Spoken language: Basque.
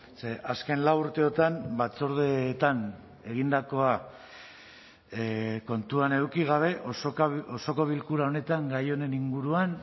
ze azken lau urteotan batzordeetan egindakoa kontuan eduki gabe osoko bilkura honetan gai honen inguruan